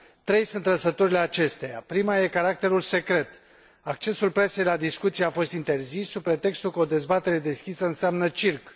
Trei sunt trăsăturile acesteia prima este caracterul secret accesul presei la discuții a fost interzis, sub pretextul că o dezbatere deschisă înseamnă circ.